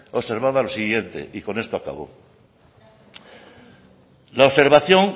observaba lo siguiente y con esto acabo la observación